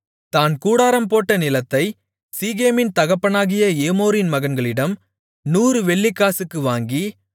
தான் கூடாரம்போட்ட நிலத்தைச் சீகேமின் தகப்பனாகிய ஏமோரின் மகன்களிடம் 100 வெள்ளிக்காசுக்கு வாங்கி